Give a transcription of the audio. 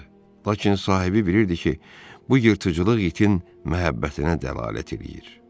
Lakin sahibi bilirdi ki, bu yırtıcılıq itin məhəbbətinə dəlalət eləyir.